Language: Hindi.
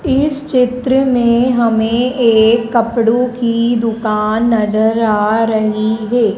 इस चित्र में हमें एक कपड़ों की दुकान नजर आ रही है।